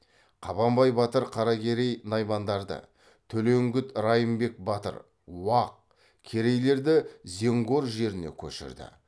қабанбай батыр қаракерей наймандарды төлеңгіт райымбек батыр уақ керейлерді зенгор жеріне көшірді